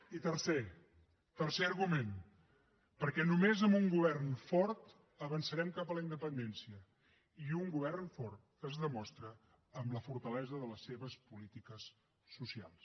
i tercer tercer argument perquè només amb un govern fort avançarem cap a la independència i un govern fort es demostra amb la fortalesa de les seves polítiques socials